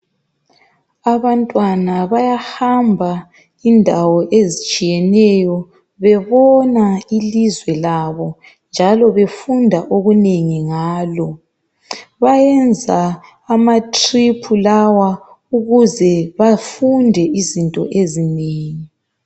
Abantwana bayahamba indawo ezitshiyeneyo bebona ilizwe labo njalo befunda okunengi ngalo bayenza amatrip lawa ukuze bafunde izinto ezinengi